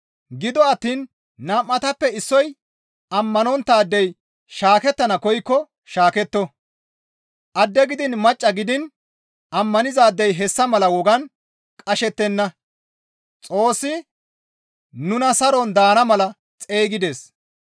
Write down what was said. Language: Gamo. Gido attiin nam7atappe issoy ammanonttaadey shaakettana koykko shaaketto; adde gidiin macca gidiin ammanizaadey hessa mala wogaan qashettenna; Xoossi nuna saron daana mala xeygides.